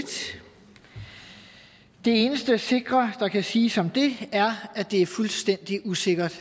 det eneste sikre der kan siges om det er at det er fuldstændig usikkert